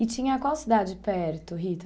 E tinha qual cidade perto, Rita?